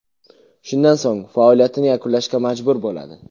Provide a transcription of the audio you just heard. Shundan so‘ng faoliyatini yakunlashga majbur bo‘ladi.